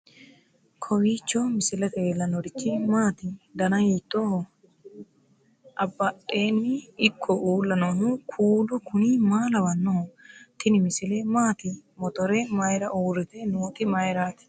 kowiicho misilete leellanorichi maati ? dana hiittooho ?abadhhenni ikko uulla noohu kuulu kuni maa lawannoho? tini misile maati motore mayra uurrite nooti mayrati